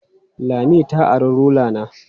Lami ta ari rula na.